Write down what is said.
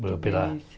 Viemos pela